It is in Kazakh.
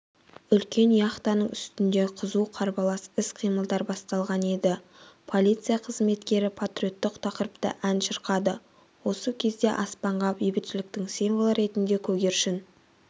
үлкен яхтаның үстінде қызу қарбалас іс-қимылдар басталған еді полиция қызметкері патриоттық тақырыпта ән шырқады осы кезде аспанға бейбітшіліктің символы ретінде көгершін